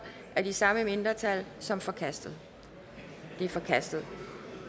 af de samme mindretal som forkastet det er forkastet